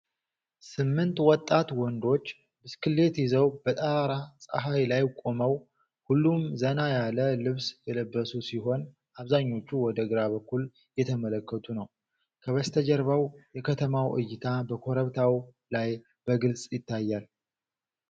ስምንት ወጣት ወንዶች ብስክሌት ይዘው በጠራራ ፀሐይ ላይ ቆመው፣ ሁሉም ዘና ያለ ልብስ የለበሱ ሲሆን አብዛኞቹ ወደ ግራ በኩል እየተመለከቱ ነው። ከበስተጀርባው የከተማው እይታ ከኮረብታው ላይ በግልጽ ይታያል።